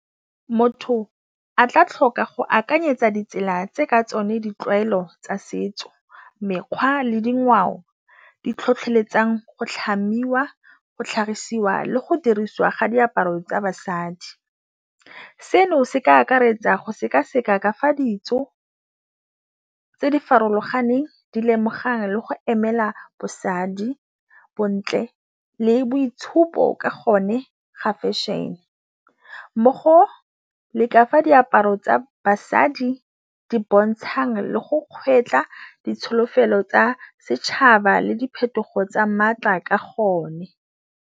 Motho a tla tlhoka go akanyetsa ditsela tse ka tsone ditlwaelo tsa setso, mekgwa le dingwao di tlhotlheletsang go tlhamiwa, go tlhagisiwa le go dirisiwa ga diaparo tsa basadi, seno se ka akaretsa go seka-seka kafa ditso tse di farologaneng di lemogang le go emela bosadi, bontle le boitshupo ka gone ga fashion-e, mo go le ka fa diaparo tsa basadi di bontshang le go kgwetla ditsholofelo tsa setšhaba le diphetogo tsa maatla ka gone.